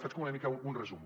faig una mica un resum